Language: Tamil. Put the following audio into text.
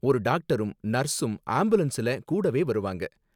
ஒரு டாக்டரும் நர்ஸும் ஆம்புலன்ஸ்ல கூடவே வருவாங்க.